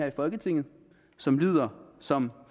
i folketinget som lyder som